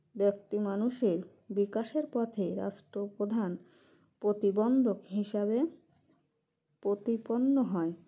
ব্যাক্তি মানুষের বিকাশের পথে রাষ্ট্র প্রধান প্রতিবন্ধক হিসাবে প্রতিপন্ন হয়